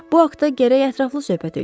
Bu haqda gərək ətraflı söhbət eləyək.